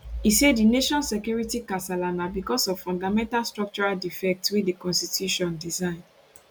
e say di nation security kasala na bicos of fundamental structural defect wey di constitution design